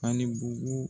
Ani bugu